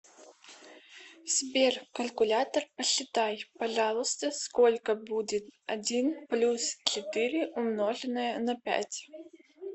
сбер калькулятор посчитай пожалуйста сколько будет один плюс четыре умноженное на пять